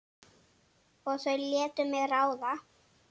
Og þau létu mig ráða.